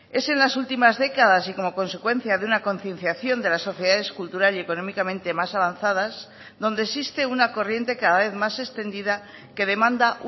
es en las últimas décadas y como consecuencia de una concienciación de las sociedades cultural y económicamente más avanzadas donde existe una corriente cada vez más extendida que demanda